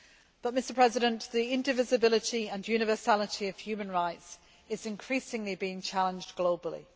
But the indivisibility and universality of human rights is increasingly being challenged globally.